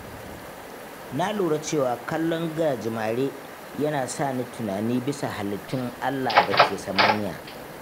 Na lura cewa kallon gajimare yana sa ni tunani bisa halittun Allah da ke samaniya